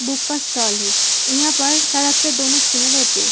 Book का stall है। यहां पर सड़क के दोनों किनरे पे --